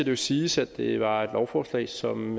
jo siges at det var et lovforslag som